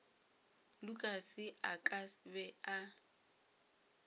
lukas a ka be a